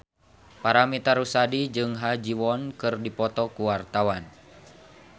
Paramitha Rusady jeung Ha Ji Won keur dipoto ku wartawan